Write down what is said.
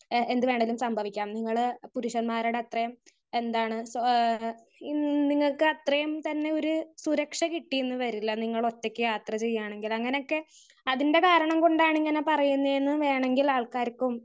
Speaker 1 ഏഹ് എന്ത് വേണമെങ്കിലും സംഭവിക്കാം.നിങ്ങള് പുരഷൻമാരുടെ അത്രയും എന്താണ് ഏഹ് ഹ്മ് നിങ്ങൾക്ക് അത്രയും തന്നെ ഒരു സുരക്ഷ കിട്ടിയെന്ന് വരില്ല. നിങ്ങള് ഒറ്റക്ക് യാത്ര ചെയ്യാണങ്കിൽ അങ്ങനെ ഒക്കെ അതിൻ്റെ കാരണം കൊണ്ടാണ് ഇങ്ങനെ പറയുന്നതെന്ന് വേണങ്കിൽ ആൾക്കാർക്കും.